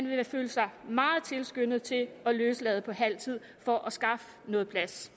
vil føle sig meget tilskyndet til at løslade på halv tid for at skaffe noget plads